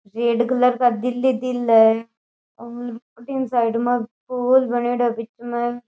Red colour का दिल ही दिल है और अठीन साइड में फूल बनेडो बीच में।